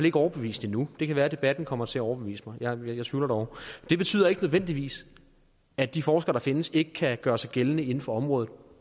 ikke overbevist endnu det kan være debatten kommer til at overbevise mig men jeg tvivler dog det betyder ikke nødvendigvis at de forskere der findes ikke kan gøre sig gældende inden for området